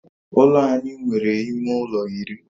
Ụlọ anyị nwe ime ụlọ iri